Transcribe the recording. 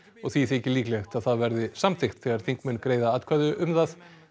og því þykir líklegt að það verði samþykkt þegar þingmenn greiða atkvæði um það